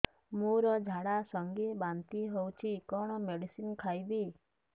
ମୋର ଝାଡା ସଂଗେ ବାନ୍ତି ହଉଚି କଣ ମେଡିସିନ ଖାଇବି